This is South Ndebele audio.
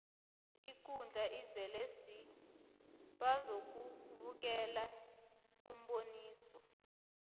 ikundla izele swi bazokubukela umboniso